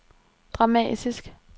dramatisk